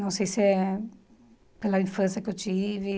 Não sei se é pela infância que eu tive.